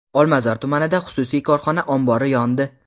Olmazor tumanida xususiy korxona ombori yondi.